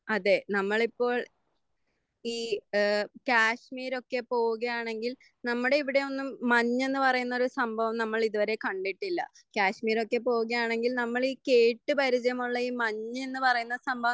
അതെ നമ്മളിപ്പോൾ ഈ ഏഹ് കാശ്മീരൊക്കെ പോകുകയാണെങ്കിൽ നമ്മുടെ ഇവിടെ ഒന്നും മഞ്ഞെന്ന് പറയുന്ന ഒരു സംഭവം നമ്മളിത് വരെ കണ്ടിട്ടില്ല. കാശ്മീരൊക്കെ പോകുകയാണെങ്കിൽ നമ്മൾ ഈ കേട്ട് പരിചയമുള്ള ഈ മഞ്ഞ് എന്ന് പറയുന്ന സംഭവം